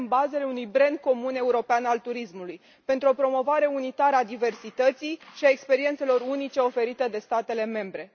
punem bazele unui brand comun european al turismului pentru o promovare unitară a diversității și a experiențelor unice oferite de statele membre.